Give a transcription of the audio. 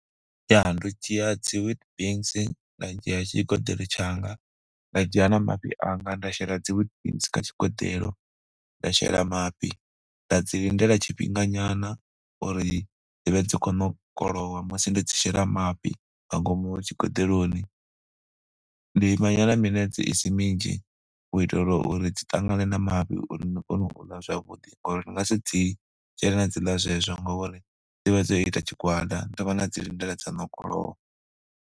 Ya ndo dzhia dzi Weetbix, nda dzhia tshi tshigeḓelo tshanga, nda dzhia na mafhi anga nda shela dzi Weetbix kha tshigeḓelo, nda shela mafhi, nda dzi lindela tshifhinga nyana uri dzi vhe dzi khou ṋokolowa musi ndo dzi shela mafhi nga ngomu tshigoḓeloni, ndi ima nyana minetse i si minzhi u itela uri dzi ṱangane na mafhi, uri ni kone u ḽa zwavhuḓi ngori ni nga si dzi shele na dzi ḽa zwezwo ngori dzi vha dzo ita tshigwada ni thoma na dzi lindela dza ṋokolowa.